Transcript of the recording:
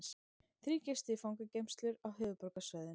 Þrír gistu fangageymslur á höfuðborgarsvæðinu